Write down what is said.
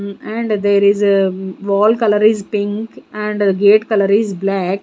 and there is a wall colour is pink and gate colour is black.